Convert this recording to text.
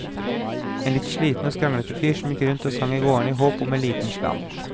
En litt sliten og skranglete fyr som gikk rundt og sang i gårdene i håp om en liten slant.